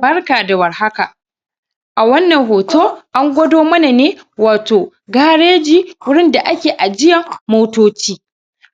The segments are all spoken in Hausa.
Barka da warhaka a wannan hoto an gwado mana ne wato gareji gurin da ake ajiyar motoci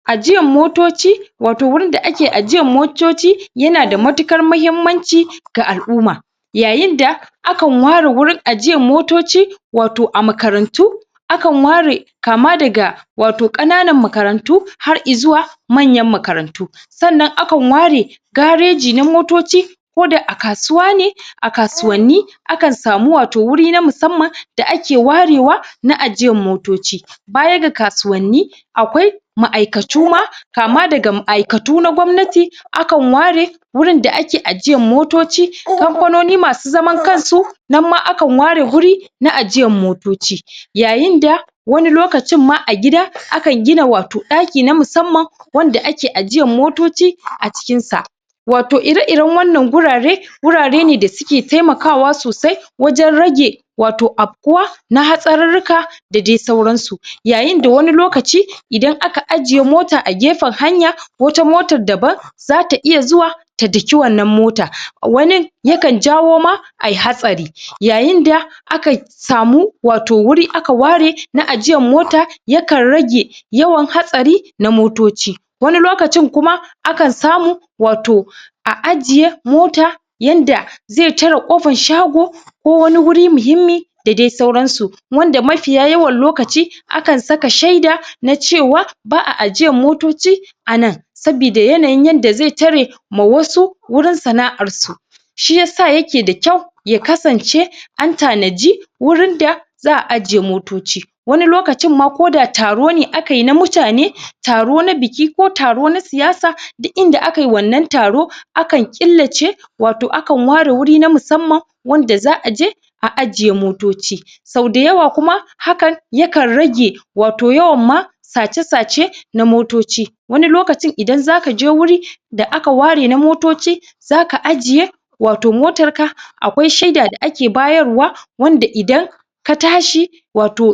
ajiyar motoci wato gurinda ake ajiyar motoci yanada matuƙan muhimmanci ga alʼumma yayinda akan ware gurin ajiyar motoci wato a makarantu akan ware kama daga wato ƙananan makarantu ,har izuwa manyan makarantu sannan akan ware gareji na motoci koda a kasuwa ne a kasuwanni akan samu wato guri na musamman da ake warewa na ajiyar motoci, baya ga kasuwanni akwai maʼaikatuma, kama daga maʼaikatu na gwamnati akan ware gurin da ake ajiyar motoci kamfanoni masu zaman kansu nan ma akan ware guri na ajiyar motoci yayinda wani lokacin ma a gida akan gina wato ɗaki na musamman wanda ake ajiyar motoci a cikinsa wato ire iren wannan gurare gurare ne dasuke taimakawa sosai wajen rage wato afkuwa na hatsararruka da dai sauransu yayin da wani lokaci idan aka aje mota a gefan hanya, wata motar daban zata iya zuwa ta daki wannan mota wani yakan jawoma ayi hatsari yayinda aka samu wato guri aka ware na ajiyar mota yakan rage yawan hatsari na motoci wani lokacin kuma akan samu wato a ajiye mota yanda ze tare ƙofar shago, wani guri muhimmi da dai sauransu wanda mafiya yawan lokaci akan saka sheda na cewa baʼa ajiyar motoci anan saboda yanayin yanda ze tare ma wasu gurin sanaʼar su shi yasa yake da kyau ya kasance an tanaji gurin da zaʼa ajiye motoci wani lokacin ma koda taro ne akayi na mutane, taro na biki ko taro na siyasa duk inda akai wannan taro akan killace wato akan ware guri na musamman wanda zaʼaje a ajiye motoci sauda yawa kuma hakan yakan raje wato yawan ma sace sace na motoci, wani lokacin idan zaka je guri da aka ware na motoci zaka ajiye wato motar ka akwai sheda da ake bayarwa wanda idan ka tashi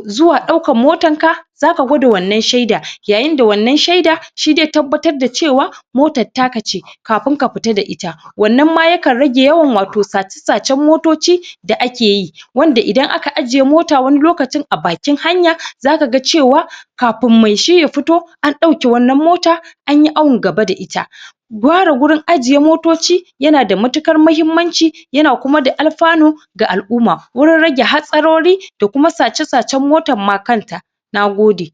zuwa ɗaukan motar ka zaka gwada wannan sheda, yayinda wannan sheda shi ze tabbatar da cewa motar taka ce kafin ka fita da ita wannan ma yakan rage yawan wato sace sacen motoci da ake yi wanda idan aka ajiye mota wani lokacin a bakin hanya zaka ga cewa kafin me shi ya fito an dauke wannan mota anyi awun gaba da ita ware gurin ajiye motoci tana da matuƙar muhimmanci koma da alfanu ga alʼumma gurin rage hatsarori, da kuma sace sacen motar kanta nagode